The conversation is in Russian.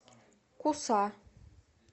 куса